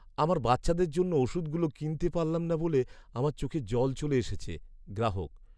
আমার বাচ্চাদের জন্য ওষুধগুলো কিনতে পারলাম না বলে আমার চোখে জল চলে এসেছে। গ্রাহক